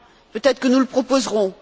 Peut être que nous le proposerons.